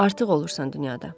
Artıq olursan dünyada.